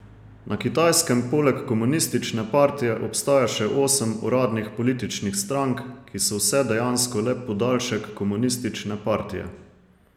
Na Kitajskem poleg komunistične partije obstaja še osem uradnih političnih strank, ki so vse dejansko le podaljšek komunistične partije.